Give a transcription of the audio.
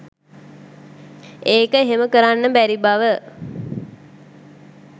ඒක එහෙම කරන්න බැරි බව